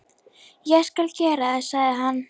Ég skal gera það, sagði hann.